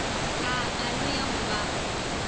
a aloe ya go baba